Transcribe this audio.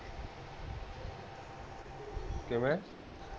ਕਿਵੇਂ